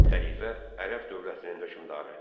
Xəlifə Ərəb dövlətinin hökmdarı.